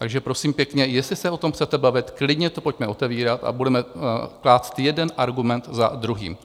Takže, prosím pěkně, jestli se o tom chcete bavit, klidně to pojďme otevírat a budeme klást jeden argument za druhým.